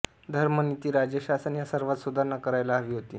धर्म नीती राज्यशासन या सर्वात सुधारणा करायला हवी होती